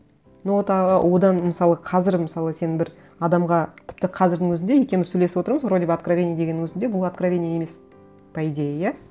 ну вот а одан мысалы қазір мысалы сен бір адамға тіпті қазірдің өзінде екеуіміз сөйлесіп отырмыз вроде бы откровение дегеннің өзінде бұл откровение емес по идее иә